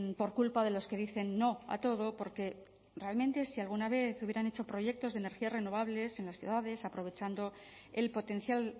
por culpa de los que dicen no a todo porque realmente si alguna vez hubieran hecho proyectos de energías renovables en las ciudades aprovechando el potencial